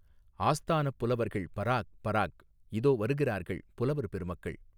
ஆஸ்தானப் புலவர்கள் பராக் பராக் இதோ வருகிறார்கள் புலவர் பெருமக்கள்.